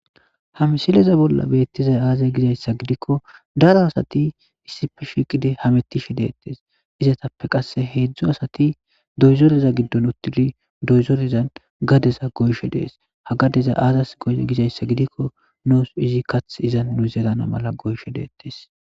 Hamsileza bolla beettizay aazay gizayssa gidikko daro asati issifi shiqide hamettishe deettes izatappe qasse heedzdzu asati doyzoreza giddon uttili doyzorezan gadeza goyshe dees ha gadeza aazas goye gizayssa gidikko noos izi kath izan nu zelana mala goyshe deettes